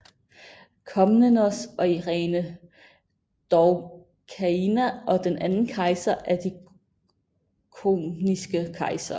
Komnenos og Irene Doukaina og den anden kejser af de komneniske kejsere